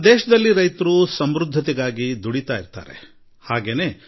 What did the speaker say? ವಿಜ್ಞಾನಿಗಳ ಮುನ್ಸೂಚನೆಯಂತೆ ಹೇಳುವುದಾದರೆ ಈ ಬಾರಿ ವ್ಯಾಪಕ ಮತ್ತು ವರ್ಷ ಋತುವಿನಾದ್ಯಂತ ಉತ್ತಮ ಮಳೆಯಾಗಲಿದೆ